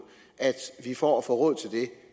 at vi for at få råd til det